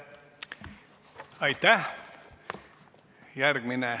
Aitäh!